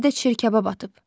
Özü də çirkab atıb.